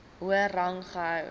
hoër rang gehou